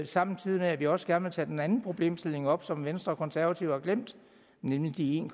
samtidig med at vi også gerne vil tage den anden problemstilling op som venstre og konservative har glemt nemlig de en